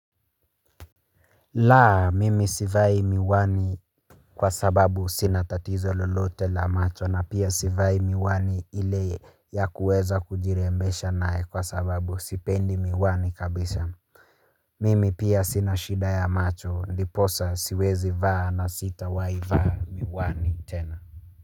La, mimi sivai miwani kwa sababu sina tatizo lolote la macho na pia sivai miwani ile ya kuweza kujirembesha nae kwa sababu sipendi miwani kabisa. Mimi pia sina shida ya macho ndiposa siwezivaa na sitawaivaa miwani tena.